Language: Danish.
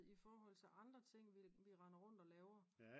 i forhold til andre ting vi render rundt og laver